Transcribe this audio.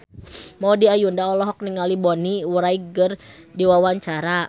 Maudy Ayunda olohok ningali Bonnie Wright keur diwawancara